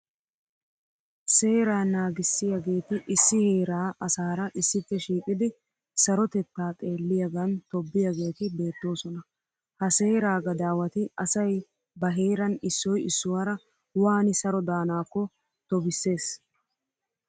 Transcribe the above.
Seera naagissiyageeti issi heeraa asaara issippe shiiqidi sarotetaa xeelliyagan tobbiyageeti beettoosona. Ha seeraa gadaawati asayi ba heeran issoyi issuwaara waani saro daanaakko tobissees.